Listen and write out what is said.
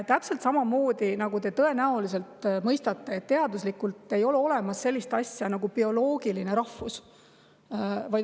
Täpselt samamoodi – te tõenäoliselt mõistate seda – ei ole teaduslikult olemas sellist asja nagu bioloogiline rahvus.